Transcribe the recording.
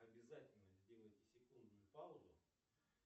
обязательно сделайте секундную паузу